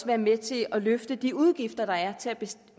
være med til at løfte de udgifter der er